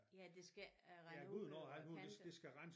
Ja det skal rende ud over æ kanter